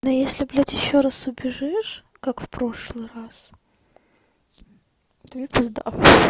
а если блядь ещё раз убежишь как в прошлый раз тебе пизда